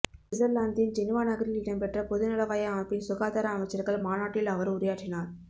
சுவிட்சர்லாந்தின் ஜெனிவா நகரில் இடம்பெற்ற பொதுநலவாய அமைப்பின் சுகாதார அமைச்சர்கள் மாநாட்டில் அவர் உரையாற்றினார